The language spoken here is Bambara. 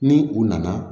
Ni u nana